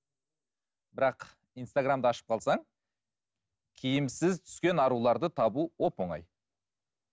бірақ инстаграмды ашып қалсаң киімсіз түскен аруларды табу оп оңай